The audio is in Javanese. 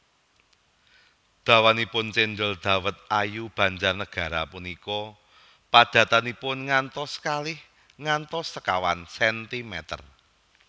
Dawanipun cendhol dawet ayu Banjarnagara punika padatanipun ngantos kalih ngantos sekawan sentimeter